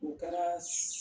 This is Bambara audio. U kɛra